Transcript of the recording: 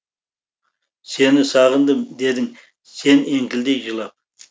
сені сағындым дедің сен еңкілдей жылап